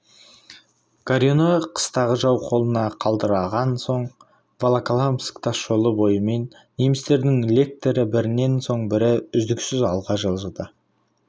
горюны қыстағы жау қолына қалдырылған соң волоколамск тас жолы бойымен немістердің лектері бірінен соң бірі үздіксіз алға жылжыды